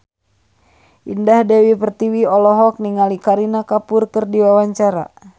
Indah Dewi Pertiwi olohok ningali Kareena Kapoor keur diwawancara